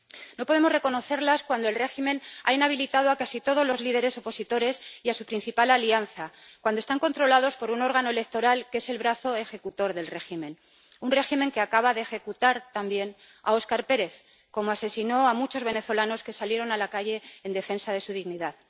No podemos reconocerlas cuando el régimen ha inhabilitado a casi todos los líderes opositores y a su principal alianza, cuando están controlados por un órgano electoral que es el brazo ejecutor del régimen, un régimen que acaba de ejecutar también a Óscar Pérez, como asesinó a muchos venezolanos que salieron a la calle en defensa de su dignidad.